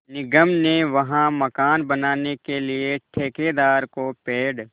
निगम ने वहाँ मकान बनाने के लिए ठेकेदार को पेड़